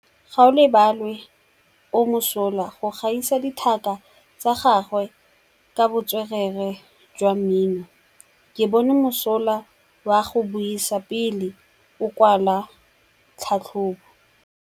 Gaolebalwe o mosola go gaisa dithaka tsa gagwe ka botswerere jwa mmino. Ke bone mosola wa go buisa pele o kwala tlhatlhobô.